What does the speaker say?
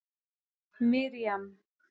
Miriam